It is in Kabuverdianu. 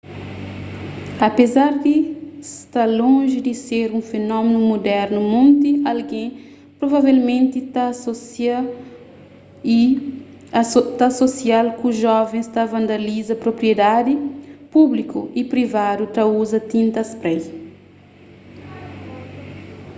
apézar di sta lonji di ser un fenómenu mudernu monti algen provavelmenti ta asosia-l ku jovens ta vandaliza propriedadi públiku y privadu ta uza tinta spray